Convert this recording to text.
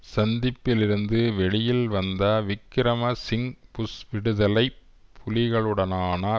சந்திப்பிலிருந்து வெளியில் வந்த Wickremesinghe Bush விடுதலை புலிகளுடனான